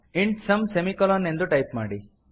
int sum semicolon ಎಂದು type ಮಾಡಿ